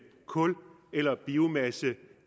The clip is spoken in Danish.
kul eller biomasse